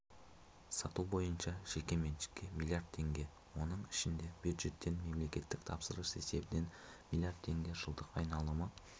сату бойынша жеке меншікке млрд теңге оның ішінде бюджеттен мемлекеттік тапсырыс есебінен млрд теңге жылдық айналымы